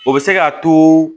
O bɛ se k'a to